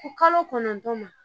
Ko kalo kɔnɔntɔ ma